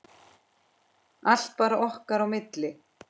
Allt bara okkar á milli.